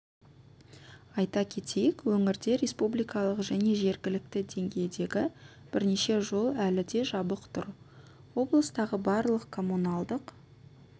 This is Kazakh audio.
айта кетейік өңірде республикалық және жергілікті деңгейдегі бірнеше жол әлі де жабық тұр облыстағы барлық коммуналдық